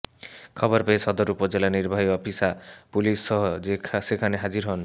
খবর পেয়ে সদর উপজেলা নির্বাহী অফিসা পুলিশসহ সেখানে হাজির হন